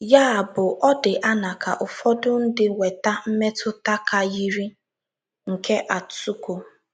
Ya bụ, ọ dị anaa ka ụfọdụ ndị nweta mmetuta ka yiri nke Atsuko